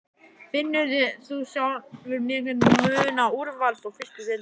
Finnur þú sjálfur mikinn mun á úrvals og fyrstu deildinni?